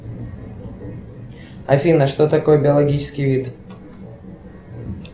афина что такое биологический вид